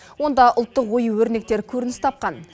онда ұлттық ою өрнектер көрініс тапқан